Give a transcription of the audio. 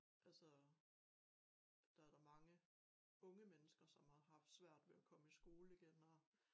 Altså der da mange unge mennesker som har haft svært ved at komme i skole igen og